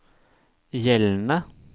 gjeldende